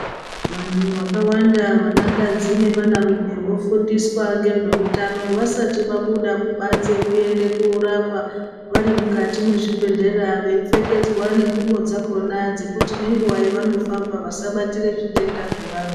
Vantu vakawanda vanakadzi nevanarume vofundiswa ngezveutano vasati vabuda kubanze kuende korapa vari mukati mwezvibhedhlera veipfekedzwa nengubo dzakona dzekuti nenguwa yevanofamba vasabatira zvitenda zvevamwe.